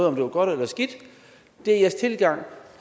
om det var godt eller skidt det er jeres tilgang